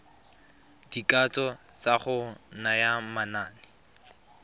dikatso tsa go naya manane